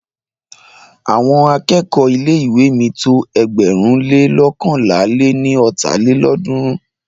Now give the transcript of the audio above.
Àwọn akẹ́kọ̀ọ́ ilé ìwé mi tó ẹgbẹ̀rún le loókànlá lé ní ọ́ta lélọ́ọ̀dúnrún.